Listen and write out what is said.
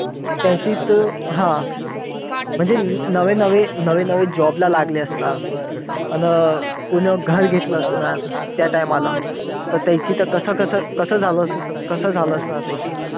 त्याचीच तर हा म्हणजे नवे नवे job ला लागले असणार. आन कोणी घर घेतलं असणार. त्या time ला तर कसं कसं कसं कसं झालं असणार. त्या